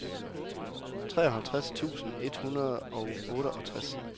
treoghalvfjerds tusind et hundrede og otteogtres